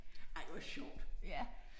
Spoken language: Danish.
Ej hvor sjovt